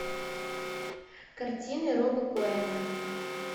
картины роба коэна